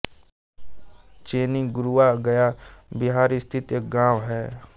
चेनी गुरुआ गया बिहार स्थित एक गाँव है